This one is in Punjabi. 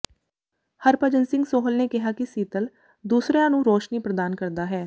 ਹਰਭਜਨ ਸਿੰਘ ਸੋਹਲ ਨੇ ਕਿਹਾ ਕਿ ਸੀਤਲ ਦੂਸਰਿਆਂ ਨੂੰ ਰੋਸ਼ਨੀ ਪ੍ਰਦਾਨ ਕਰਦਾ ਹੈ